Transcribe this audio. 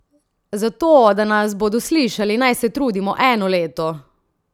Za to, da nas bodo slišali, naj se trudimo eno leto?